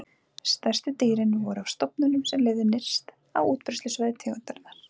stærstu dýrin voru af stofnunum sem lifðu nyrst á útbreiðslusvæði tegundarinnar